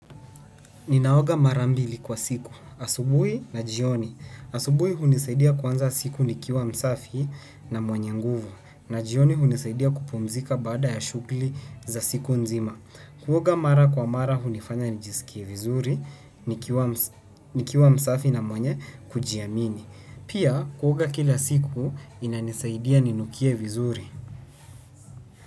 Ninaoga mara mbili kwa siku. Asubuhi na jioni. Asubuhi hunisaidia kuanza siku nikiwa msafi na mwenye nguvu. Na jioni hunisaidia kupumzika baada ya shughuli za siku nzima. Kuoga mara kwa mara hunifanya nijisikie vizuri, nikiwa msafi na mwenye kujiamini. Pia kuoga kila siku inanisaidia ninukie vizuri.